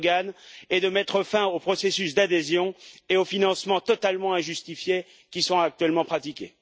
M. Erdogan et de mettre fin au processus d'adhésion ainsi qu'aux financements totalement injustifiés qui sont actuellement pratiqués.